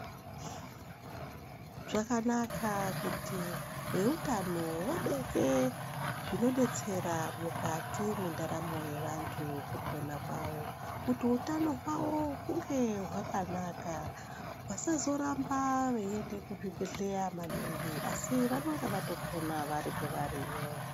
Zvakanaka kuti veutano vabeke zvinodetsera mukati mwendaramo yevantu mukupoa kwavo kuti utano hwavo hunge hwakanaka vasazoramba vechienda kuzvibhedhlera maningi asi vanenge vatopona vari kwavariyo.